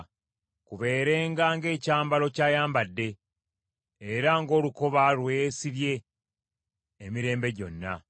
Kubeerenga ng’ekyambalo ky’ayambadde, era ng’olukoba lwe yeesibye emirembe gyonna.